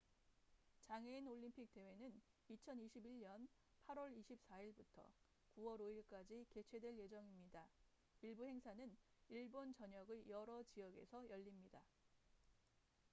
장애인 올림픽 대회는 2021년 8월 24일부터 9월 5일까지 개최될 예정입니다 일부 행사는 일본 전역의 여러 지역에서 열립니다